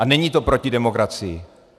A není to proti demokracii.